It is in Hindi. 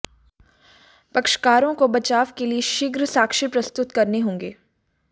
पक्षकारों को बचाव के लिये शीघ्र साक्ष्य प्रस्तुत करने होंगे